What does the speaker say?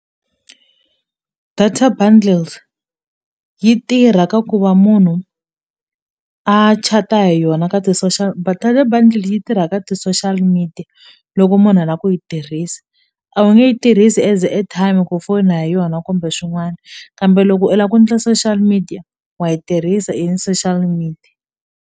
Data bundles yi tirha ka ku va munhu a chat-a hi yona ka ti social buudle yi tirha ka ti-social media loko munhu a la ku yi tirhisa a wu nge yi tirhisi as airtime ku fona hi yona kumbe swin'wana kambe loko i la ku ndla social media wa yi tirhisa i social media.